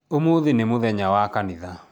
Ũmũthĩ nĩ mũthenya wa kanitha